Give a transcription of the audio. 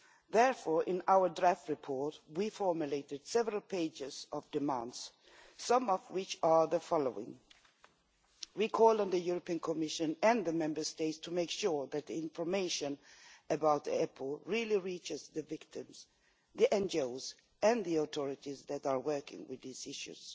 Therefore, in our draft report we formulated several pages of demands, some of which are the following We call on the Commission and the Member States to make sure that information about EPOs really reaches the victims, the NGOs and the authorities that are working with these issues